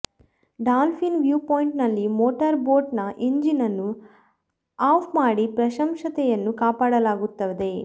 dolphin viewpoint ನಲ್ಲಿ motor boat ನ engine ನ್ನು ಆಫ್ ಮಾಡಿ ಪ್ರಶಾಂತತೆಯನ್ನು ಕಾಪಾಡಲಾಗುತ್ತದೆ